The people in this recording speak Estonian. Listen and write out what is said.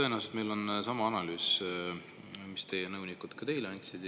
Tõenäoliselt meil on sama analüüs, mille teie nõunikud teile andsid.